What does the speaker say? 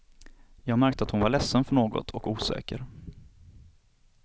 Jag märkte att hon var ledsen för något och osäker.